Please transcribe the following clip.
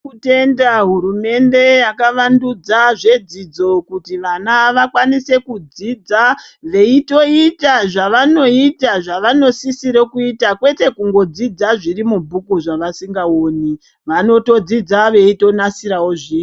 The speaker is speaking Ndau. Tiri kutenda hurumende yakawandudza zvedzidzo kuti vana vakwanise kudzidza veitoita zvava noita zvavono sisira kuita kwete kungo dzidza zviri mubhuku zva vasinga oni vanoto dzidza veito nasirawo zviro.